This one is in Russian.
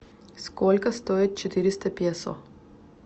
сколько стоит четыреста песо